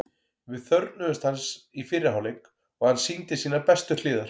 Við þörfnuðumst hans í fyrri hálfleik og hann sýndi sínar bestu hliðar.